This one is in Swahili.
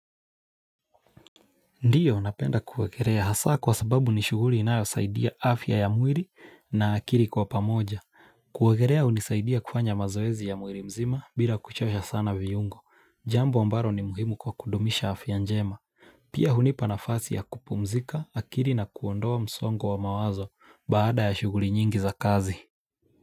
Ndiyo napenda kuwekerea hasa kwa sababu ni shughuli inayo saidia afya ya mwiri na akiri kwa pamoja. Kuogerea hunisaidia kufanya mazoezi ya mwiri mzima bila kuchosha sana viyungo. Jambo ambaro ni muhimu kwa kudumisha afya njema. Pia hunipa nafasi ya kupumzika akiri na kuondoa msongo wa mawazo baada ya shuguri nyingi za kazi.